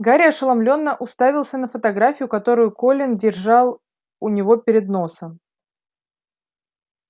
гарри ошеломлённо уставился на фотографию которую колин держал у него перед носом